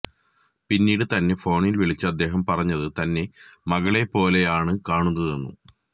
പിന്നീട് തന്നെ ഫോണിൽ വിളിച്ച് അദ്ദേഹം പറഞ്ഞത് തന്നെ മകളെ പോലെയാണ് കണുന്നതെന്നും